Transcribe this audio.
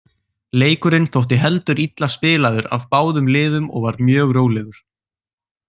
Leikurinn þótti heldur illa spilaður af báðum liðum og var mjög rólegur.